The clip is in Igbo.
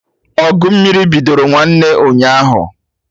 Ọgụ mmiri bidoro nwanne ụnyaahụ